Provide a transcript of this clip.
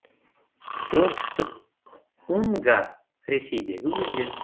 оңтүстік унга ресейдегі өзен